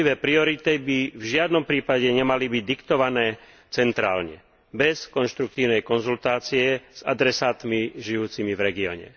Jednotlivé priority by v žiadnom prípade nemali byť diktované centrálne bez konštruktívnej konzultácie s adresátmi žijúcimi v regióne.